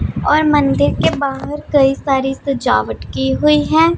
और मंदिर के बाहर कई सारी सजावट की हुई है।